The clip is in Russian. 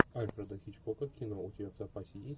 альфреда хичкока кино у тебя в запасе есть